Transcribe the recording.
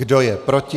Kdo je proti?